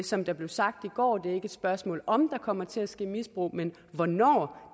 som det blev sagt i går er det ikke et spørgsmål om der kommer til at ske misbrug men hvornår